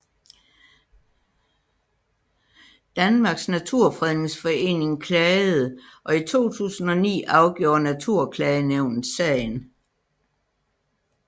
Danmarks Naturfredningsforening klagede og i 2009 afgjorde Naturklagenævnet sagen